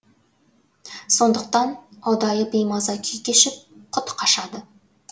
сондықтан ұдайы беймаза күй кешіп құты қашады